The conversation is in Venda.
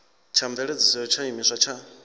tsha mveledziso ya tshiimiswa tsha